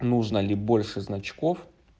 нужно ли больше значков